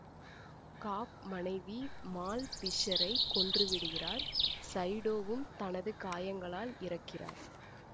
காப் மனைவி மால் பிஷ்சரை கொன்று விடுகிறார் சைடோவும் தனது காயங்களால் இறக்கிறார்